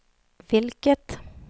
vilket